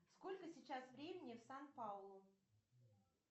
сколько сейчас времени в сан пауло